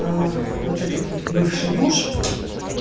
вот этот вот бывший муж